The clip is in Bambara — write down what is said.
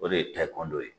O de ye ye